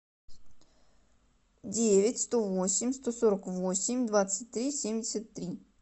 девять сто восемь сто сорок восемь двадцать три семьдесят три